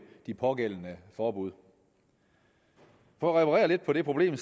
de pågældende forbud for at reparere lidt på det problem